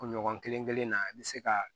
Kunɲɔgɔn kelen kelen na i bɛ se ka